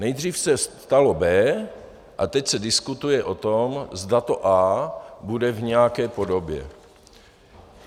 Nejdřív se stalo B a teď se diskutuje o tom, zda to A bude v nějaké podobě.